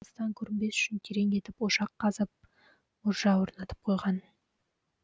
алыстан көрінбес үшін терең етіп ошақ қазып мұржа орнатып қойған